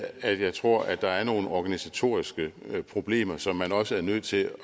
at jeg tror at der er nogle organisatoriske problemer som man også er nødt til